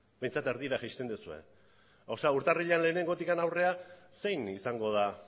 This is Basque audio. behintzat erdira jaisten duzue urtarrila lehenengotik aurrera zein izango da